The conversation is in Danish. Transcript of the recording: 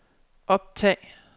optag